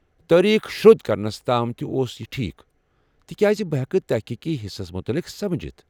تٲریخ شرودھ كرنس تام تہِ اوس یہ ٹھیکھ، تکیاز بہٕ ہٮ۪کہٕ تحقیقی حِصس مٗتعلق سمجِتھ ۔